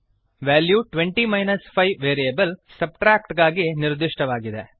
value 20 5 variable subtract ಗಾಗಿ ನಿರ್ದಿಷ್ಟವಾಗಿದೆ